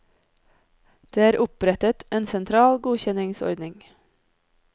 Det er opprettet en sentral godkjenningsordning.